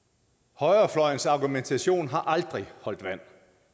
højrefløjens argumentation har aldrig holdt vand